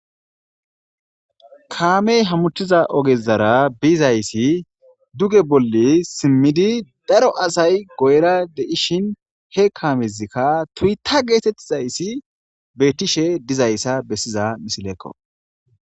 Kame hamutiza ogezaara bizayisi duge boli simidi daro asay guyera deishin he kamezikka toyota getetizayiti betishe dizayisa besiza missilekko.